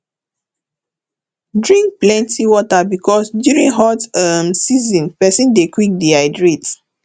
drink plenty water because during hot um season person dey quick dehydrate